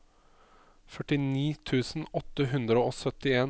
førtini tusen åtte hundre og syttien